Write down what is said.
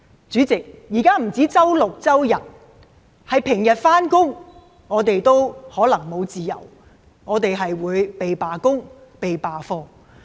主席，現在不只是周六、周日，連平日的上班時間，我們都可能沒有自由，我們會"被罷工"、"被罷課"。